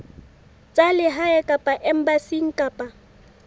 tsa lehae kapa embasing kapa